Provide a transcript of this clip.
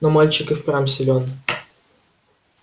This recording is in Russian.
но мальчик и впрямь силен